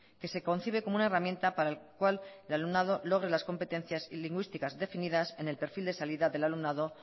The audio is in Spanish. que se concibe como una herramienta para el cual el alumnado logre las competencias lingüísticas definidas en el perfil de salida del alumnado